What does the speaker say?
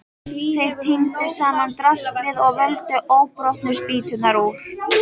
Þeir tíndu saman draslið og völdu óbrotnu spýturnar úr.